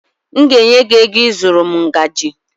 M ga-enye gị ego ịzụrụ m ngaji